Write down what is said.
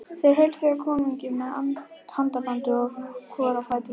Þeir heilsuðu konungi með handabandi hvor á fætur öðrum.